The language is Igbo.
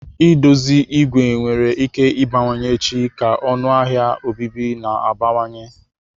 I dozi ìgwè nwere ike ịbawanye echi ka ọnụ ahịa obibi na-abawanye.